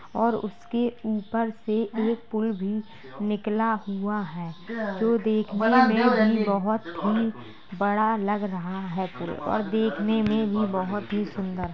और उसके ऊपर से एक पुल भी निकला हुआ है जो देखने में भी बहोत ही बड़ा लग रहा है पुल और देखने में भी बहुत सुंदर।